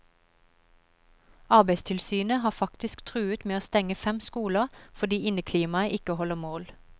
Arbeidstilsynet har faktisk truet med å stenge fem skoler fordi inneklimaet ikke holder mål.